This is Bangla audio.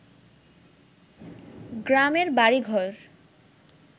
গ্রামের বাড়িঘর